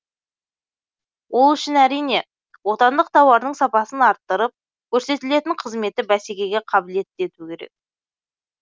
ол үшін әрине отандық тауардың сапасын арттырып көрсетілетін қызметті бәсекеге қабілетті ету керек